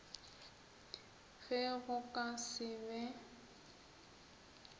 ge go ka se be